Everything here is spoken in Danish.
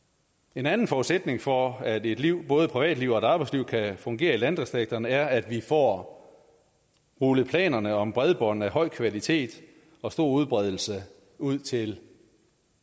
en anden forudsætning for at et liv både privatliv og arbejdsliv kan fungere i landdistrikterne er at vi får rullet planerne om bredbånd af høj kvalitet og stor udbredelse ud til